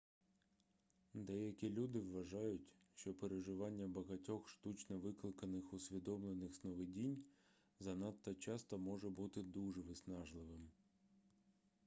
деякі люди вважають що переживання багатьох штучно викликаних усвідомлених сновидінь занадто часто може бути дуже виснажливим